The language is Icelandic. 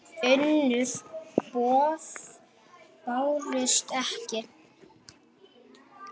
Önnur boð bárust ekki.